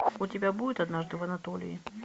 у тебя будет однажды в анатолии